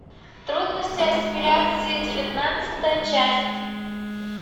трудности ассимиляции девятнадцатая часть